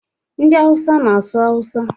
Ndị awusa na-asụ awusa.